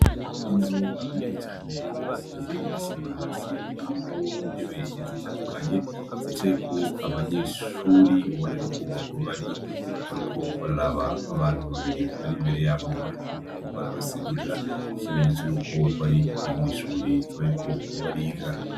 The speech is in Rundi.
Inzu nini cane isize isima hasi irimwo intebe zitandukanye, zicaye ko abanyeshuri ubona yuko bariko bararaba abantu babiri bari imbere yabo bariko barabasigurira, ikimenyetso yuko bari mw'ishuri bariko bariga.